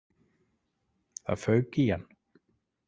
Það fauk í hann.